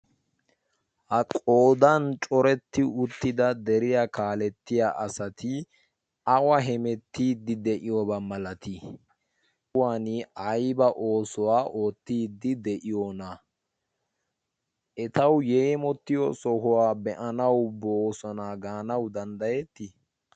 ha qoodan coretti uttida deriyaa kaalettiya asati awa hemettiiddi de7iyoobaa malatii? kuwan aiba oosuwaa oottiiddi de7iyoona? etawu yeemottiyo sohuwaa be7anawu boosonaa gaanawu danddayettii?